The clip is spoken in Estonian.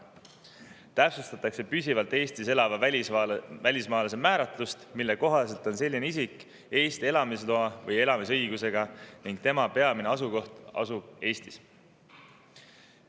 Täpsustatakse püsivalt Eestis elava välismaalase määratlust, mille kohaselt on selline isik Eesti elamisloa või elamisõigusega ning tema peamine asukoht on Eestis.